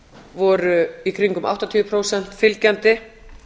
voru í kringum áttatíu prósent fylgjandi